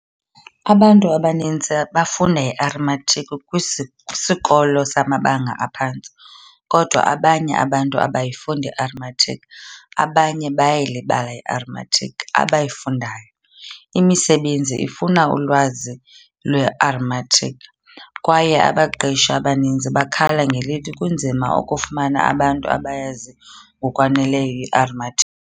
Abantu abaninzi bafunda i-arithmetic kwisikolo samabanga aphantsi, kodwa abanye abantu abayifundi i-arithmetic abanye bayayilibala i-arithmetic abayifundayo. Imisebenzi ifuna ulwazi lwe-arithmetic, kwaye abaqeshi abaninzi bakhala ngelithi kunzima ukufumana abantu abayazi ngokwaneleyo i-arithmetic.